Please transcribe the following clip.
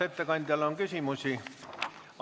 Kas ettekandjale on küsimusi?